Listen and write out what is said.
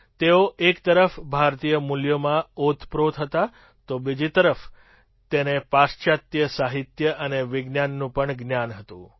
તેઓ એક તરફ ભારતીય મૂલ્યોમાં ઓતપ્રોત હતા તો બીજી તરફ તેને પાશ્ચાત્ય સાહિત્ય અને વિજ્ઞાનનું પણ જ્ઞાન હતું